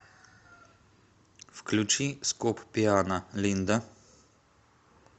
включи скоп пиано линда